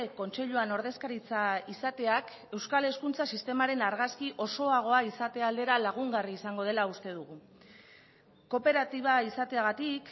kontseiluan ordezkaritza izateak euskal hezkuntza sistemaren argazki osoagoa izatea aldera lagungarri izango dela uste dugu kooperatiba izateagatik